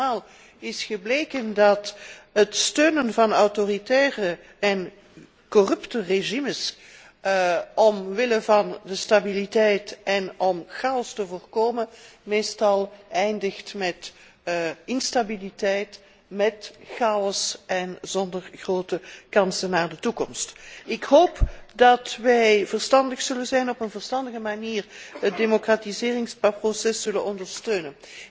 Maar andermaal is gebleken dat het steunen van autoritaire en corrupte regimes omwille van de stabiliteit en om chaos te voorkomen, meestal eindigt met instabiliteit, met chaos en zonder grote kansen voor de toekomst. Ik hoop dat wij verstandig zullen zijn en op een verstandige manier het democratiseringsproces zullen ondersteunen.